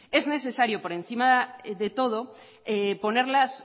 es necesario por encima de todo poner las